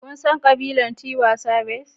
Kun san ƙabilar Tiwa Savage?